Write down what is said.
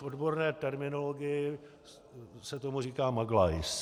V odborné terminologii se tomu říká maglajs.